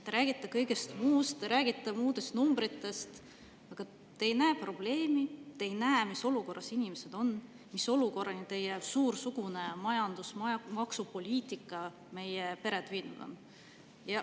Te räägite kõigest muust, te räägite muudest numbritest, aga te ei näe probleemi, te ei näe, mis olukorras inimesed on, mis olukorrani teie suursugune majandus‑ ja maksupoliitika pered viinud on.